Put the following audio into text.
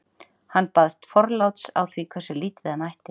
Hann baðst forláts á því hversu lítið hann ætti.